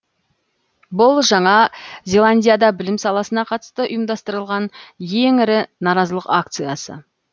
бұл жаңа зеландияда білім саласына қатысты ұйымдастырылған ең ірі наразылық акциясы